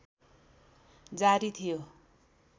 जारी थियो